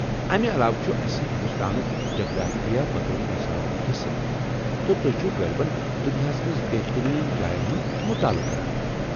امہ علاوٕ چُھ اسہِ ہنٛدوستٲنُك جغرافیہ بطور نِصابُك حِصہٕ ، تہٕ تُہۍ چھِو غٲلبن دنیاہس منز بہترین جاین ہُنٛد مُطٲلعہٕ کران۔